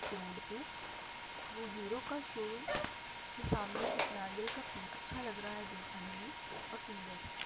इस रोड पे हीरो का शोरूम के सामने एक नारियल का पेड़ है जो अच्छा लग रहा है दिखने में और सुंदर--